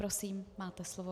Prosím, máte slovo.